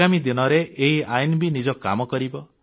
ଆଗାମୀ ଦିନରେ ଏହି ଆଇନ ବି ନିଜ କାମ କରିବ